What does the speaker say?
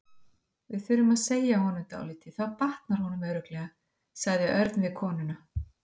Við þurfum að segja honum dálítið og þá batnar honum örugglega, sagði Örn við konuna.